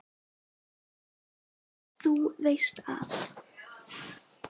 Þú veist að.